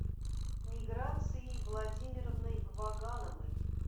миграцией владимировной вагановой